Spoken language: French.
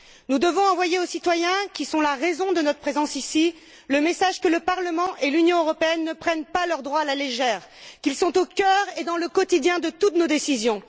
Nous devons envoyer aux citoyens, qui sont la raison de notre présence ici, le message que le Parlement et l'Union européenne ne prennent pas leurs droits à la légère, qu'ils sont au cœur et dans le quotidien de toutes nos décisions.